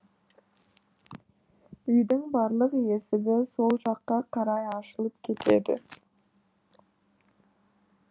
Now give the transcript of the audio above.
үйдің барлық есігі сол жаққа қарай ашылып кетеді